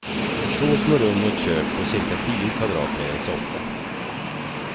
Två små rum och ett kök på cirka tio kvadrat med en soffa.